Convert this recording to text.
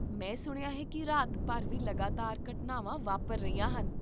ਮੈਂ ਸੁਣਿਆ ਹੈ ਕੀ ਰਾਤ ਭਰ ਵੀ ਲਗਾਤਾਰ ਘਟਨਾਵਾਂ ਵਾਪਰ ਰਹੀਆਂ ਹਨ?